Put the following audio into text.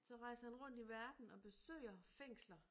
Så rejser han rundt i verden og besøger fængsler